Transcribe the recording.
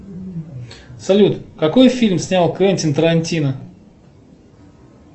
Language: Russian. салют какой фильм снял квентин тарантино